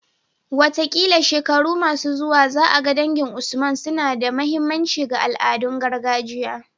Wataƙila shekaru masu zuwa za a ga dangin Usman suna ba da muhimmanci ga al'adun gargajiya